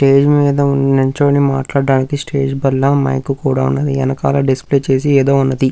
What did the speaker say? Stage మీద నిల్చొని మాట్లాడటానికి స్టేజి బల్ల మైక్ కూడా ఉన్నది వేనకాల డిస్ప్లే చేసి ఏదో ఉన్నది.